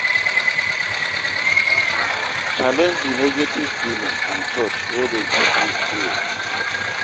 Challenege di negative feeling and thought wey dey give you fear